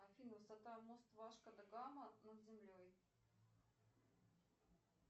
афина высота мост васко да гама над землей